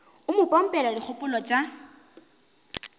o mo pompela dikgopolo tša